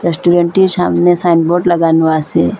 রেস্টুরেন্টটির সামনে সাইনবোর্ড লাগানো আসে।